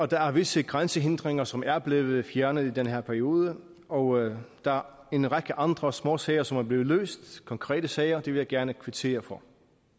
der er visse grænsehindringer som er blevet fjernet i den her periode og der er en række andre små sager som er blevet løst konkrete sager det vil jeg gerne kvittere for